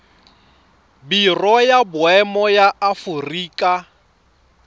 biro ya boemo ya aforika